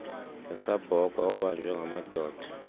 ngesabhokhwe obanjwe ngamadoda